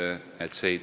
Austatud Riigikogu!